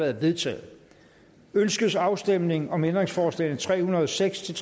er vedtaget ønskes afstemning om ændringsforslag nummer tre hundrede og seks til